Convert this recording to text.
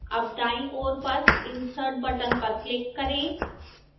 अब दाईं ओर पर insert button पर click करें